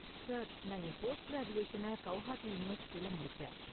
Sir, நான் என் post கிராஜுவேஷன கவுஹாத்தி யூனிவெர்சிட்டியில முடிச்சேன்.